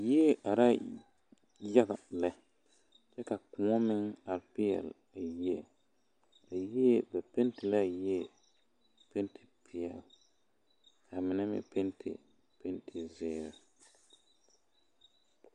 Yie arɛɛ yaga lɛ kyɛ ka kõɔ meŋ are peɛle a yie a yie ba pɛnte la a yie pɛnte peɛle ka a mine meŋ pɛnte pɛnte zeere.